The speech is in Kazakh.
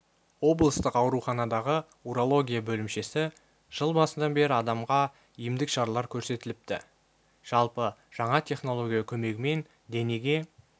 облыстық ауруханадағы урология бөлімшесі жыл басынан бері адамға емдік шаралар көрсетіпті жалпы жаңа технология көмегімен денеге